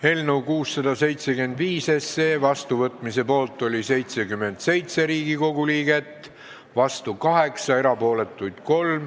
Hääletustulemused Eelnõu 675 seadusena vastuvõtmise poolt oli 77 Riigikogu liiget, vastu oli 8, erapooletuks jäi 3.